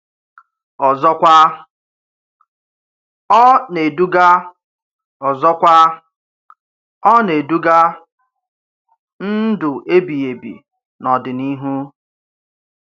Ọzọkwa, ọ na-eduga Ọzọkwa, ọ na-eduga n’ndụ ebighị ebi n’ọdịnihu.